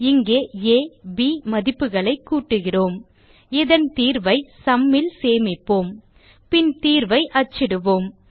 இங்கே ஆ மற்றும் ப் மதிப்புகளைக் கூட்டுகிறோம் இதன் தீர்வை சும் ல் சேமிப்போம் பின் தீர்வை அச்சிடுவோம்